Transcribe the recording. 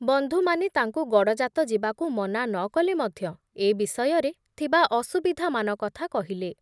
ବନ୍ଧୁମାନେ ତାଙ୍କୁ ଗଡ଼ଜାତ ଯିବାକୁ ମନା ନ କଲେ ମଧ୍ୟ ଏ ବିଷୟରେ ଥିବା ଅସୁବିଧାମାନ କଥା କହିଲେ ।